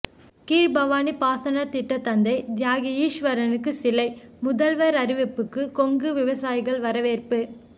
கீழ்பவானி பாசன திட்ட தந்தை தியாகி ஈஸ்வரனுக்கு சிலை முதல்வர் அறிவிப்புக்கு கொங்கு விவசாயிகள் வரவேற்பு